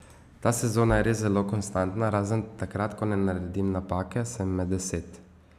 Ta sezona je res zelo konstantna, razen takrat, ko ne naredim napake, sem med deset.